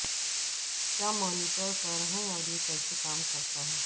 کیا مانیٹرٹر ہے اور یہ کیسے کام کرتا ہے